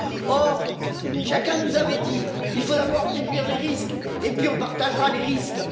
Or, chacun nous avait dit il faut d'abord réduire les risques, et puis on partagera les risques.